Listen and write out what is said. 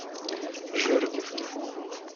жердевке